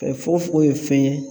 Kɛ fofogo ye fɛn ye